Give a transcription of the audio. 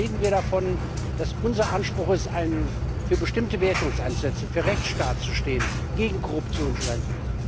Wie oft reden wir davon, dass es unser Anspruch ist, uns für bestimmte Werte einzusetzen, für den Rechtsstaat zu stehen, gegen Korruption zu sein.